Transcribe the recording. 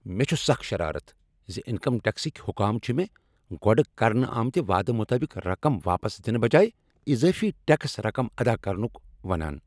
مےٚ چھ سخ شرارت ز انکم ٹیکسٕکۍ حکام چھ مےٚ گۄڑٕ کرنہٕ آمتہ وعدٕ مطٲبق رقم واپس دنہٕ بجایہ اضٲفی ٹکس رقم ادا کرنک ونان۔